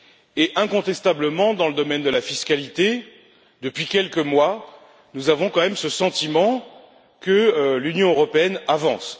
Et, incontestablement, dans le domaine de la fiscalité, depuis quelques mois, nous avons quand même ce sentiment que l'Union européenne avance.